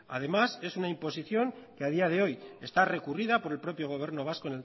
además es una imposición que a día de hoy está recurrida por el propio gobierno vasco